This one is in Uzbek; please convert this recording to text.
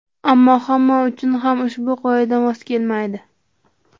Ammo hamma uchun ham ushbu qoida mos kelmaydi.